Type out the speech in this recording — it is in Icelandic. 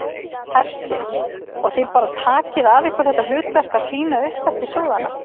Hersir: Og þið bara takið að ykkur þetta hlutverk að tína upp eftir sóðana?